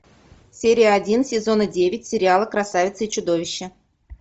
серия один сезона девять сериала красавица и чудовище